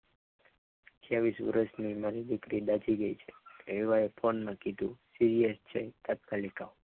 અઠીયાવીસ વરસની ઉંમરે જ બાજી ગઈ છે એવું phone માં કીધું serious છે તાત્કાલિક આવો.